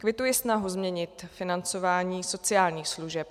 Kvituji snahu změnit financování sociálních služeb.